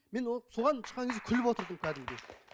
мен ол соған шыққан кезде күліп отырдым кәдімгідей